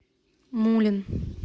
мулин